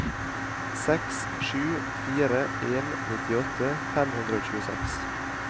seks sju fire en nittiåtte fem hundre og tjueseks